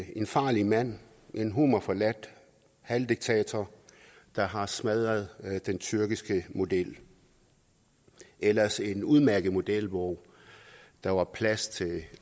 en farlig mand en humorforladt halvdiktator der har smadret den tyrkiske model ellers en udmærket model hvor der var plads til